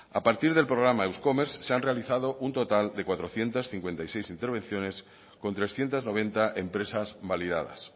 a partir del programa eus commerce se han realizado un total de cuatrocientos cincuenta y seis intervenciones con trescientos noventa empresas validadas